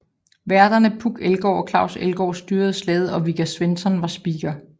Værterne Puk Elgård og Claus Elgaard styrede slaget og Vigga Svensson var speaker